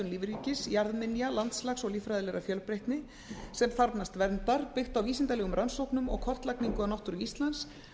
lífríkis jarðminja landslags og líffræðilegrar fjölbreytni sem þarfnast verndar byggt á vísindalegum rannsóknum og kortlagningu á náttúru íslands